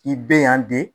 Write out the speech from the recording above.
I bɛ yan di